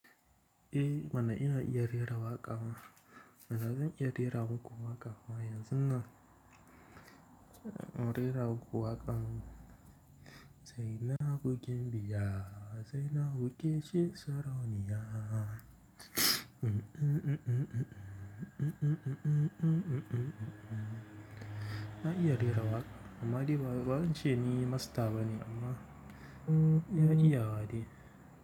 Eh mana ina iya rera waƙa. Manazan iya rera wata waƙa kuma yanzun na rera waƙa. Zaina hukin biya, zaina hukce sarauniya. Na iya rera waƙa amma dai ba wacce ni masta bane amma iya iya hade.